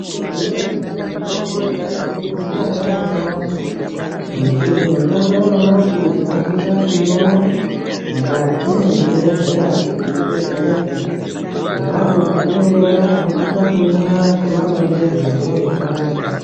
Zvinyari kuti mitombo yekaretu yasiyana neyanyamashi ngekuti mitombo yanyamashi tinosise kuiona mukati mezvibhedhleya kuti tidetsereke ponapo patinoiona tinosise kuimwa semaronzerwe azvinenge zvaitwa.